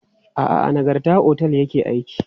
A'a, a Nagarta otel ya ke aiki.